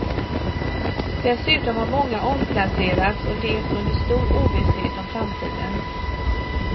Dessutom har många omplacerats och levt under stor ovisshet om framtiden.